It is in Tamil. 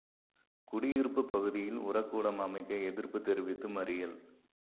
குடியிருப்பு பகுதியில் உரக் கூடம் அமைக்க எதிா்ப்புத் தெரிவித்து மறியல்